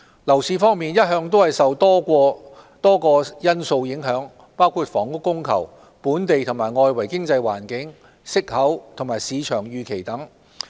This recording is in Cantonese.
樓市一向受多個因素影響，包括房屋供求、本地和外圍經濟環境、息口和市場預期等。